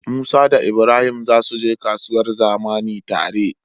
musa da ibrahim zasu je kasuwar zamani tare